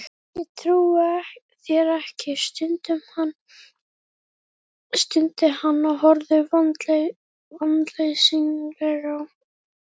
Ég trúi þér ekki, stundi hann og horfði vonleysislega á